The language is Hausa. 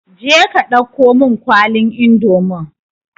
Je ka dauko mun kwalin indomin